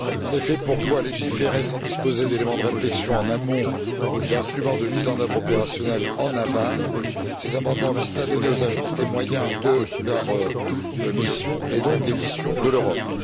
En effet, pour pouvoir légiférer sans disposer d'éléments de réflexion en amont et d'instruments de mise en œuvre opérationnelle en aval, ces amendements visent à donner aux agences les moyens de leur mission et donc des missions de l'Europe.